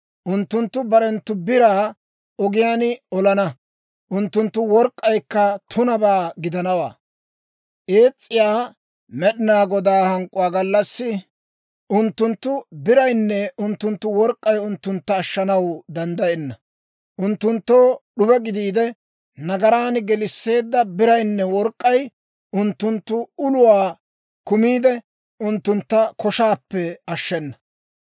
Unttunttu barenttu biraa ogiyaan olana; unttunttu work'k'aykka tunabaa gidanawaa. Ees's'iyaa Med'inaa Godaa hank'k'uwaa gallassi, unttunttu biraynne unttunttu work'k'ay unttuntta ashshanaw danddayenna. Unttunttoo d'ube gidiide, nagaran gelisseedda biraynne work'k'ay unttunttu uluwaa kumiide, unttuntta koshaappe ashshenna.